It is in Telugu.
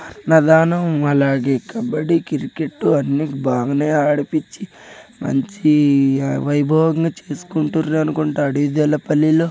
నధానం అలాగే కబడ్డీ క్రికెట్ అన్నీ బానే ఆడిపిచ్చి మంచి వైభవంగా చేసుకుంటరు అనుకుంట డీ.జే. ల పెల్లిలు.